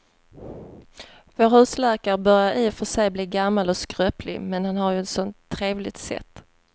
Vår husläkare börjar i och för sig bli gammal och skröplig, men han har ju ett sådant trevligt sätt!